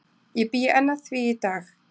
Ég bý enn að því í dag.